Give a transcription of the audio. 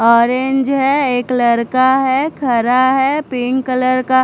orange है एक लड़का है खड़ा है पिंक कलर का--